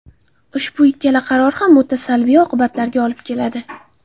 Ushbu ikkala qaror ham o‘ta salbiy oqibatlarga olib keladi.